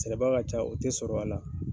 Sɛbɛbaga ka ca, o tɛ sɔrɔ a la